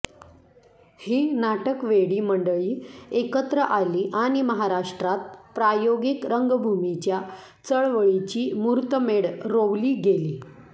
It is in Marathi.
ही नाटकवेडी मंडळी एकत्र आली आणि महाराष्ट्रात प्रायोगिक रंगभूमीच्या चळवळीची मुहूर्तमेढ रोवली गेली